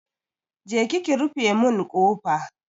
Je ki ki rufe mun kofa!